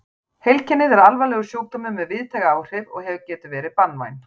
Heilkennið er alvarlegur sjúkdómur með víðtæk áhrif og getur verið banvænt.